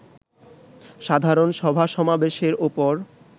সাধারণ সভা-সমাবেশের উপর